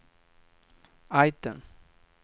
item